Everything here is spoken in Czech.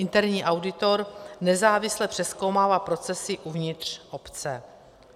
Interní auditor nezávisle přezkoumává procesy uvnitř obce.